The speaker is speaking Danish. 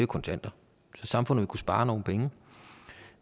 kontanter så samfundet vil kunne spare nogle penge